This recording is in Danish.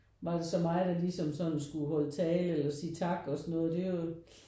Var det så mig der ligesom sådan skulle holde tale eller sige tak og sådan noget det er jo